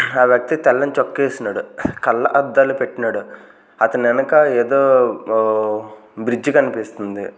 ఆ వ్యక్తి తెల్లని చొక్కా ఏస్నాడు కళ్లద్దాలు పెట్నాడు అతని ఎనక ఏదో ఓ బ్రిడ్జ్ కన్పిస్తుంది.